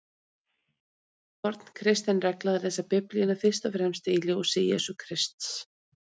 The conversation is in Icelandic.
Það er forn kristin regla að lesa Biblíuna fyrst og fremst í ljósi Jesú Krists.